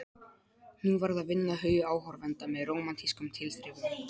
Nú varð að vinna hugi áhorfenda með rómantískum tilþrifum.